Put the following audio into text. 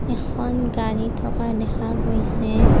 এইখন গাড়ী থকা দেখা গৈছে।